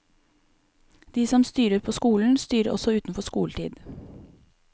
De som styrer på skolen, styrer også utenfor skoletid.